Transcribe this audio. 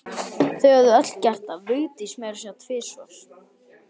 Þau höfðu öll gert það, Vigdís meira að segja tvisvar.